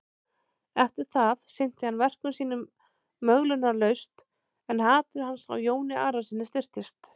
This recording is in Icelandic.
Eftir það sinnti hann verkum sínum möglunarlaust en hatur hans á Jóni Arasyni styrktist.